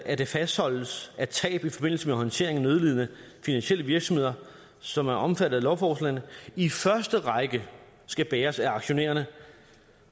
at det fastholdes at tab i forbindelse med håndteringen af nødlidende finansielle virksomheder som er omfattet af lovforslagene i første række skal bæres af aktionærerne